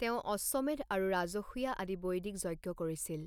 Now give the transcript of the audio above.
তেওঁ অশ্বমেধ আৰু ৰাজসুয়া আদি বৈদিক যজ্ঞ কৰিছিল।